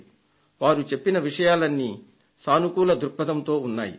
వారు చెప్పిన విషయాలన్నీ సానుకూల దృక్పథంతో ఉన్నాయి